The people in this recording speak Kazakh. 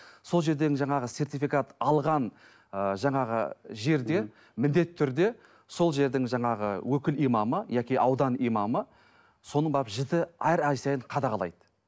сол жерден енді жаңағы сертификат алған ы жаңағы жерде міндетті түрде сол жердің жаңағы өкіл имамы яки аудан имамы соны барып жіті әр ай сайын қадағалайды